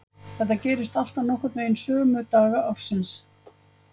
Þetta gerist alltaf nokkurn veginn sömu daga ársins.